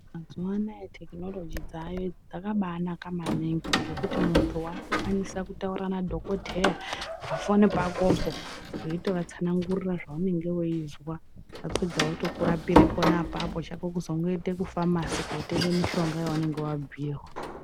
Mazuwa anaya thekinoloji dzaayo idzi dzakanaanaka maningi ,ngekuti munhu waakukwanisa kutaura nadhokoteya pafoni pakopo, weitovatsanangurira zvaunenge weizwa, vapedza votokurapira apapo. Chako kuzongoende kufamasi kotenga mutombo yaunenge wabhiirwa.